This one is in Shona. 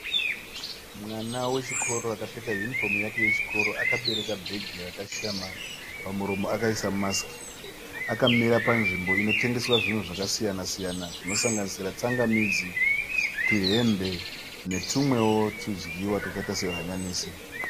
Mwana wechikoro akapfeka yunifomu yake yechikoro ,akabereka bhegi rakashama, pamuromo akaisa masiki . Akamira panzvimbo inotengeswa zvinhu zvakasiyana siyana zvinosanganisira tsangamidzi, tuhembe netumwewo tudyiwa twakaita sehanyanisi.